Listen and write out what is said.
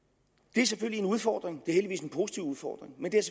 det er selvfølgelig en udfordring heldigvis en positiv udfordring men det er